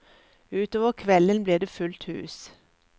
Utover kvelden blir det fullt hus.